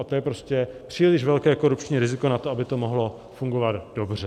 A to je prostě příliš velké korupční riziko na to, aby to mohlo fungovat dobře.